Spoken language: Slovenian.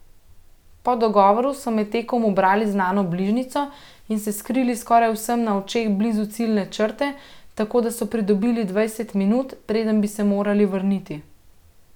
Po dogovoru so med tekom ubrali znano bližnjico in se skrili skoraj vsem na očeh blizu ciljne črte, tako da so pridobili dvajset minut, preden bi se morali vrniti.